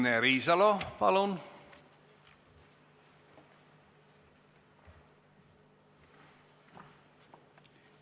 Signe Riisalo, palun!